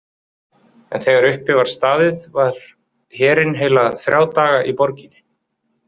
En þegar uppi var staðið var herinn heila þrjá daga í borginni.